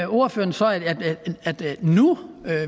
ordføreren så at nu